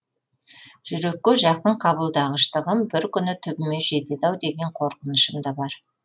жүрекке жақын қабылдағыштығым бір күні түбіме жетеді ау деген қорқынышым да бар